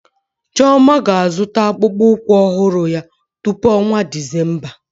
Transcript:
Chioma ga-azụta akpụkpọ ụkwụ ọhụrụ ya tupu ọnwa Disemba.